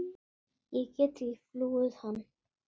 Ég get ekki flúið hann.